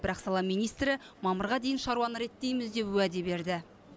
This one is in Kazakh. бірақ сала министрі мамырға дейін шаруаны реттейміз деп уәде берді